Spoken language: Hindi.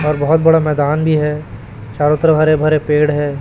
और बहुत बड़ा मैदान भी है चारों तरफ हरे भरे पेड़ है।